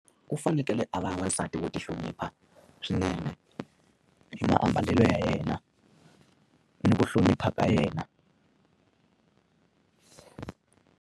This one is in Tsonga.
Ku fanekele a va n'wasati wo ti hlonipha swinene, hi maambalelo ya yena, ni ku hlonipha ka yena.